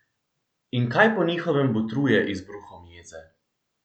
In kaj po njihovem botruje izbruhom jeze?